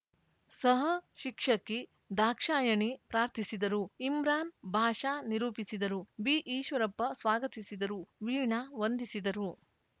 ಸಹಶಿಕ್ಷಕಿ ದಾಕ್ಷಾಯಣಿ ಪ್ರಾರ್ಥಿಸಿದರು ಇಮ್ರಾನ್‌ ಬಾಷಾ ನಿರೂಪಿಸಿದರು ಬಿಈಶ್ವರಪ್ಪ ಸ್ವಾಗತಿಸಿದರು ವೀಣಾ ವಂದಿಸಿದರು